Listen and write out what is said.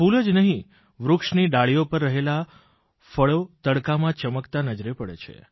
ફૂલ જ નહીં વૃક્ષની ડાળીઓ પર રહેલાં ફળો તડકામાં ચમકતાં નજરે પડે છે